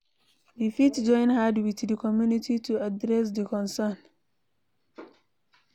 We fit join hand with di community to address di concern